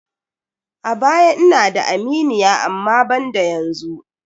A baya ina da aminiya amma banda yanzu.